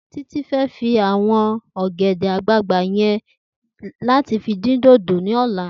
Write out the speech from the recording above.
Titi fè fi áwòn ògèdè àgbágbá yèn làtí fi din dódó lòlá